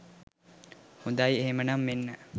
හොඳයි එහෙනම් මෙන්න